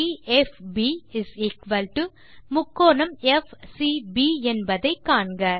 ∠DFB ∠FCB என்பதை காண்க